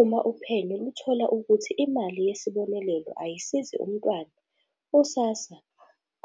"Uma uphenyo luthola ukuthi imali yesibonelelo ayisizi umntwana, u-SASSA